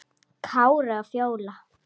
Kári og Fjóla.